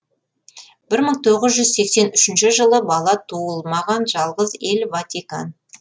бір мың тоғыз жүз сексен үшінші жылы бала туылмаған жалғыз ел ватикан